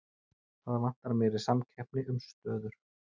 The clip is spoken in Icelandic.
Það vantar meiri samkeppni um stöður